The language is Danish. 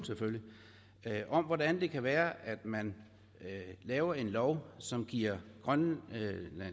om hvordan det kan være at man laver en lov som giver grønlands